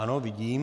Ano, vidím.